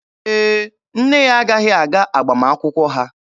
Ee, nne ya agaghị aga agbamakwụkwọ ha.